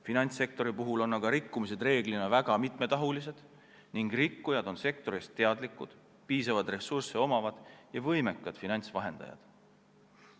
Finantssektori puhul on aga rikkumised reeglina väga mitmetahulised ning rikkujad on sektorist teadlikud, neil on piisavalt ressursse ja nad on võimekad finantsvahendajad.